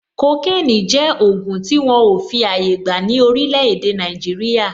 Kokénì jẹ́ ògùn tí wọn ò fi àyè gbà ní orílè èdè Nàìjíríà.